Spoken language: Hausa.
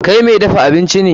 Kai mai dafa abinci ne.